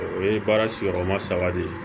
O ye baara sigiyɔrɔma saba de ye